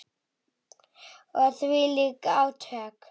Og þvílík átök.